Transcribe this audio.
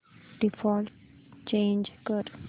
default change कर